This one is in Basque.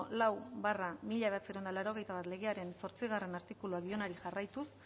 lau barra mila bederatziehun eta laurogeita bat legearen zortzigarrena artikuluari dionari jarraituz